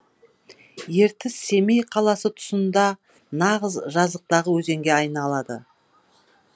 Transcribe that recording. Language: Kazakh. ертіс семей қаласы тұсында нағыз жазықтағы өзенге айналады